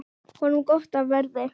Honum gott af verði.